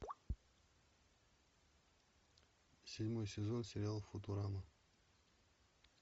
седьмой сезон сериал футурама